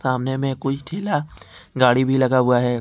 सामने में कोई ठेला गाड़ी भी लगा हुआ हैं।